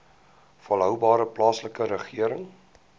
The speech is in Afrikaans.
volhoubare plaaslike regering